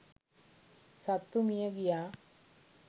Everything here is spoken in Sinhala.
සත්තු මිය ගියා.